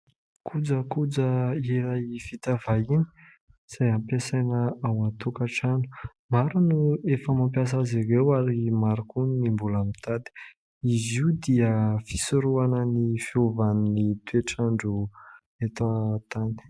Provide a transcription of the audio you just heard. Kojakoja iray vita vahiny izay ampiasaina ao an-tokatrano. Maro no efa mampiasa azy ireo ary maro koa ny mbola mitady. Izy io dia fisorohana ny fiovan'ny toe-trandro eto an-tany..